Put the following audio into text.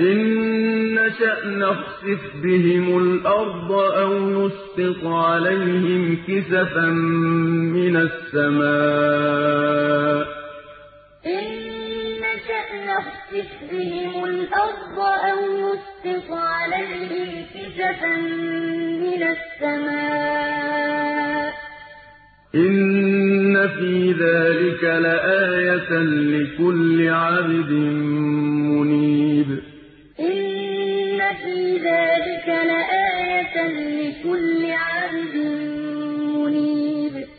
ۚ إِن نَّشَأْ نَخْسِفْ بِهِمُ الْأَرْضَ أَوْ نُسْقِطْ عَلَيْهِمْ كِسَفًا مِّنَ السَّمَاءِ ۚ إِنَّ فِي ذَٰلِكَ لَآيَةً لِّكُلِّ عَبْدٍ مُّنِيبٍ أَفَلَمْ يَرَوْا إِلَىٰ مَا بَيْنَ أَيْدِيهِمْ وَمَا خَلْفَهُم مِّنَ السَّمَاءِ وَالْأَرْضِ ۚ إِن نَّشَأْ نَخْسِفْ بِهِمُ الْأَرْضَ أَوْ نُسْقِطْ عَلَيْهِمْ كِسَفًا مِّنَ السَّمَاءِ ۚ إِنَّ فِي ذَٰلِكَ لَآيَةً لِّكُلِّ عَبْدٍ مُّنِيبٍ